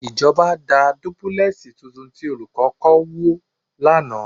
Ìjọba da dúbúlẹ́ẹ̀sì tuntun tí Olùkọ́ kọ́ wó lánàá